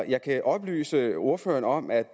jeg kan oplyse ordføreren om at